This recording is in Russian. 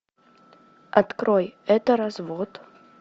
открой это развод